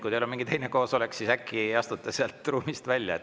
Kui teil on mingi teine koosolek, siis äkki astute siit ruumist välja.